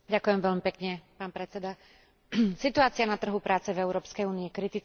Situácia na trhu práce v Európskej únii je kritická a veľmi sa dotýka aj mladých ľudí.